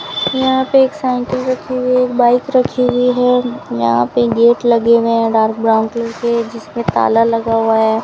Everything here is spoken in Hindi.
यहां पे एक साइकिल रखी हुई है एक बाइक रखी हुई है यहां पे गेट लगे हुए हैं डार्क ब्राउन कलर के जिसमे ताला लगा हुआ है।